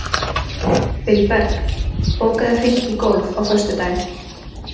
Vilberg, bókaðu hring í golf á föstudaginn.